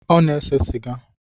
Ọ na-ese sịga